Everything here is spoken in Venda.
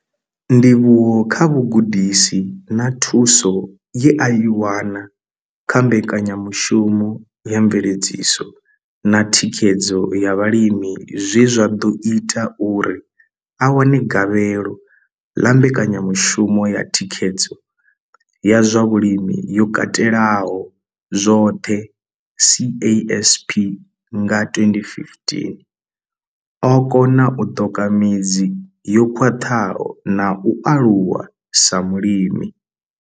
Ndivhuwo kha vhugudisi na thuso ye a i wana kha mbekanyamushumo ya mveledziso na thikhedzo ya vhalimi zwe zwa ḓo ita uri a wane gavhelo ḽa mbekanyamushumo ya thikhedzo ya zwa vhulimi yo katelaho zwoṱhe CASP nga 2015, o kona u ṱoka midzi yo khwaṱhaho na u aluwa sa mulimi.